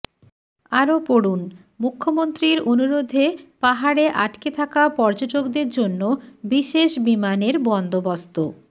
আরও পড়ুন মুখ্যমন্ত্রীর অনুরোধে পাহাড়ে আটকে থাকা পর্যটকদের জন্য বিশেষ বিমানের বন্দোবস্ত